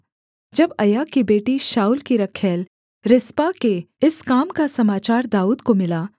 जब अय्या की बेटी शाऊल की रखैल रिस्पा के इस काम का समाचार दाऊद को मिला